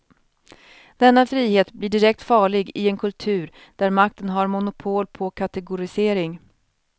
Denna frihet blir direkt farlig i en kultur där makten har monopol på kategorisering.